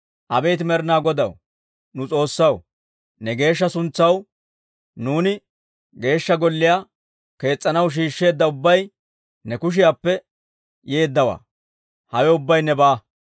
Abeet Med'inaa Godaw, nu S'oossaw, ne geeshsha suntsaw nuuni Geeshsha Golliyaa kees's'anaw shiishsheedda ubbay ne kushiyaappe yeeddawaa; hawe ubbay nebaa.